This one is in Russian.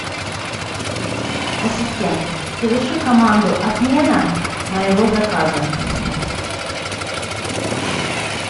ассистент соверши команду отмена моего заказа